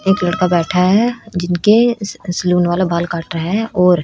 एक लड़का बैठा है जिनके स सलून वाला बाल काट रहा है और--